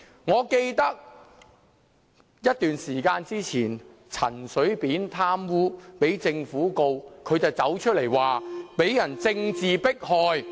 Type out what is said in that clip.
我記得前一段時間，陳水扁因貪污被政府控告，也是高呼受到政治迫害。